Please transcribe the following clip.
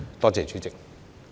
多謝主席。